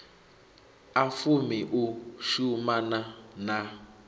a fumi u shumana na